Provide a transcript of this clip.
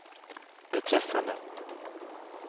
beträffande